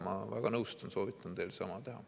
Ma väga nõustun, soovitan teil sama teha.